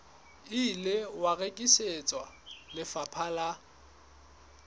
ile wa rekisetswa lefapha la